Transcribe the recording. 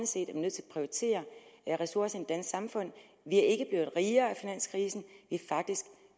set er nødt til at prioritere ressourcerne i samfund vi er ikke blevet rigere af finanskrisen